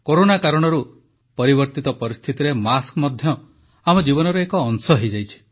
corona କାରଣରୁ ପରିବର୍ତ୍ତିତ ପରିସ୍ଥିତିରେ ମାସ୍କ ମଧ୍ୟ ଆମ ଜୀବନର ଏକ ଅଂଶ ହୋଇଯାଇଛି